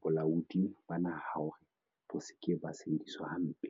bolaodi ba naha hore bo se ke ba sebediswa hampe.